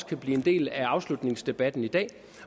kan blive en del af afslutningsdebatten i dag